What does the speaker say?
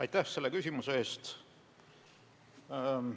Aitäh selle küsimuse eest!